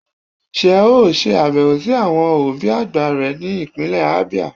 sé e o sè abewo si Àwọn obi àgbà re ni ipinle Abia?